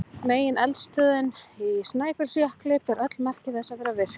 Megineldstöðin Snæfellsjökull ber öll merki þess að vera virk.